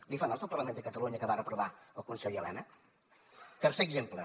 li fa nosa el parlament de catalunya que va reprovar el conseller elena tercer exemple